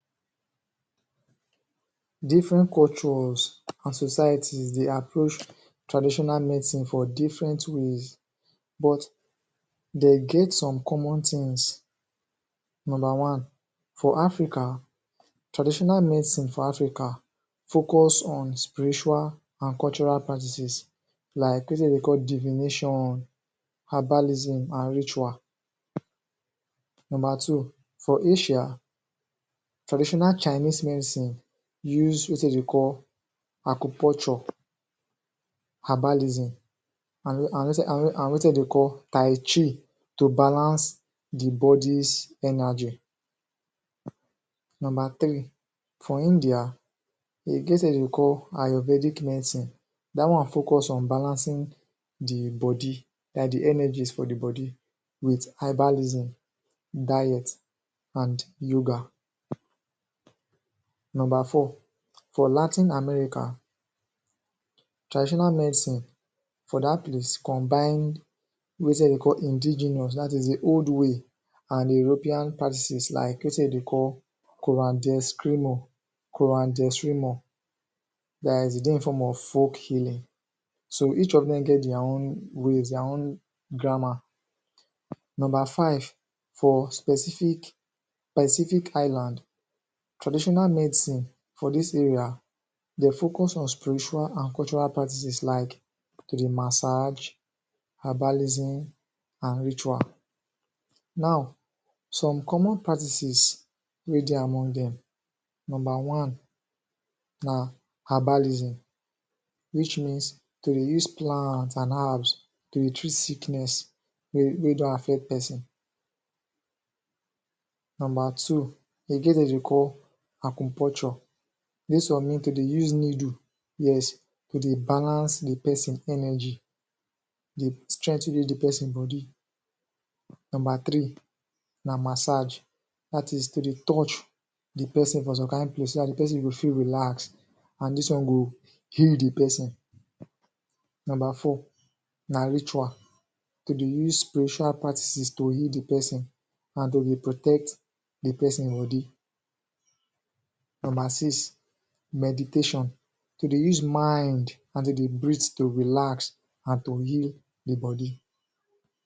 Different cultures and societies, dey approah traditional medicine for different ways but, dey get some common tins number one, for Africa, traditional medicine for Africa focus on spiritual and cultural practices like place wey dem dey call divination herbalism and ritual number two, for Asia, tradinational Chinese medicine use wetin dem dey call acupunture herbalism and wetin and wetin dem dey call Tai Chi to balance the bodi's energy Number three, for India, dem get somtin wey dem dey call ayurvedic medicine dat one focus on balancing di body like the energies for di body with herbalism diet, and yoga Number four, for latin America, traditional medicine for dat place combine wetin dem dey call indigenous, dat is the odd way and European practices like wetin wey dem dey call koran de eskrimo koran de eskrimo like e dey in form of folk healing so each of dem get dia own ways, dia own grammar Number five, for specific Pacific Island traditional medicine for dis area dey focus on spiritual and cultural practices like, kiri massage, herbalism, and ritual. Now, some common practices, wey dey among dem, number one, na, herbalism which means dem dey use plant and herbs dey treat sickness wey don affect person number two, dem get wetin dem dey call acupunture, dis one mean to dey use niddle, yes! to dey balance the person energy dey strenthen wetin do di person bodi. Number three, na masaage dat is to dey touch di person for some kind place so dat the person go feel relax and dis one go heal the person. Number four, na ritual to dey use spiritual practices to heal di person and to dey protect di person bodi Number six, meditation to dey use mind and to dey breathe to relax and to heal di body